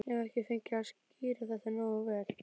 Ég hef ekki fengið að skýra þetta nógu vel út.